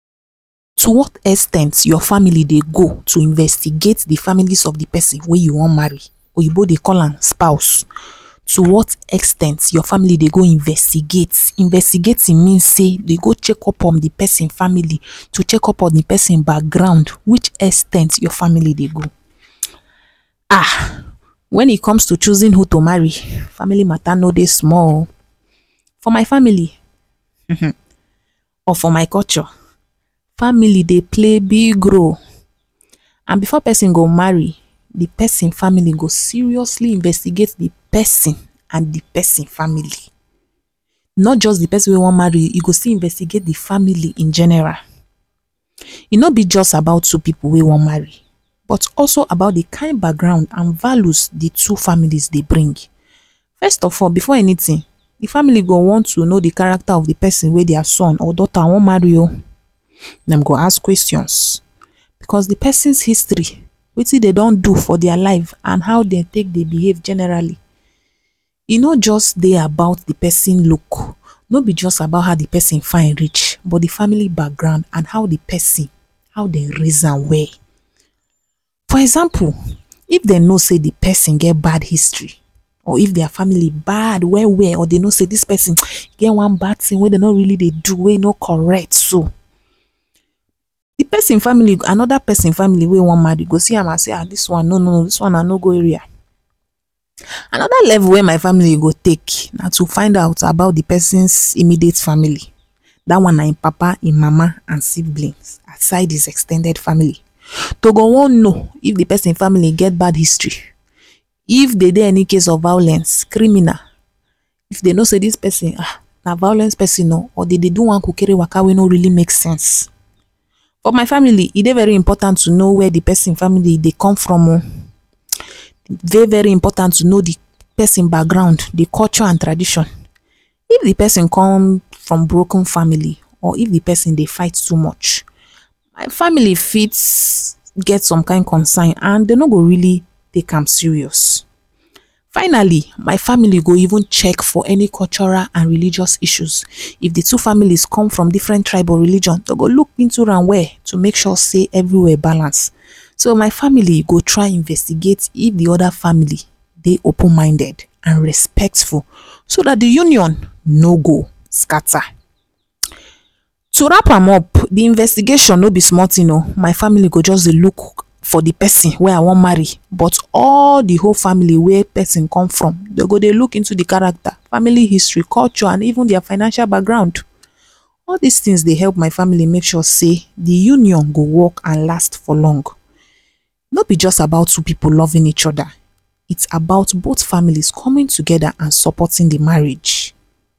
To what ex ten t your family dey go to investigate de family of de person whey you wan marry oyinbo dey call am spouse to what ex ten d your family dey go investigate investigating mean sey dem go check on de ma family to check on the person background which ex ten d your family dey go [um]when e comes to choosing who to marry family mata no dey small oo for my family hmm or for my culture family dey play big role and before person go marry person family go seriously investigate person and person family not just who wan marry dem fit investigate dey family in general e no just be about two pipo whey wan marry but also about dey kind of background and values de two family dey bring first of all before anytin dey family go wan first no de character of de person whey their son or dota wan marry o dem go ask questions plus de person history wetin dey don don do for their life and how dem take dey behave generally e no just de about the person look e no be about how de person fine reach but family background and how de person how dem rise well for example if dem no sey dey person get bad history or if their family bad well well or dem no sey dis person get [hiss] get one bad tin whey em dey do whey dem dey do whey no really correct so de person family and anoda person family whey wan marry go see am go sey no no no no dis one na no go area another tin whey my family go take na to find out about de person immediate family dat one na him papa and mama and siblings aside him ex ten ded family dem go wan no if person family get bad history if de get any case of violence criminal if dem no say dis person na bad person or e get one kukere waka whey no make sense for my family e de important to know where de pipo family dey come from o dey very important to know dey person background culture and tradition if de person come from broken family of de person dey fight too much family go get concern and dem no go take am serious finally my family go even check for cultural and religion issue if de two family come from different tribe or religion to make sure sey every where balance so my family go try investigate to dem if de other family dey open minded and respectful so dat de union no go scatter to wrap am up the investigation no be small tin o my family go dey look for de family whey I want to marry but all de whole family whey person come from dey look into dey family dey go dey check character culture even their financial background all dis tins dey help my family check dey union go build and last for long no be just about two pipo loving each other its about both families coming together supporting one anoda